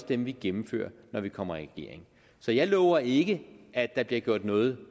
dem vi gennemfører når vi kommer i regering så jeg lover ikke at der bliver gjort noget